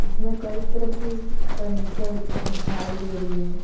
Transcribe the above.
इसमें कई तरह की फर्नीचर दिखाई दे रही हैं।